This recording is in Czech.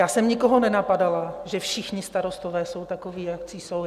Já jsem nikoho nenapadala, že všichni starostové jsou takoví, jací jsou.